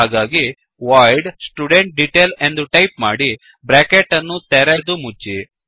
ಹಾಗಾಗಿ void student detail ಎಂದು type ಮಾಡಿ ಬ್ರ್ಯಾಕೆಟ್ ಅನ್ನು ತೆರೆದು ಮುಚ್ಚಿ